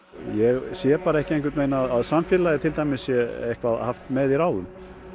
ég sé bara ekki einhvern veginn að samfélagið sé með í ráðum